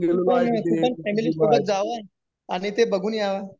तू पण फॅमिली सोबत जावं unclear आणि ते बघून यावं